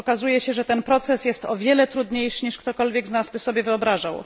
Okazuje się, że ten proces jest o wiele trudniejszy niż ktokolwiek z nas by sobie wyobrażał.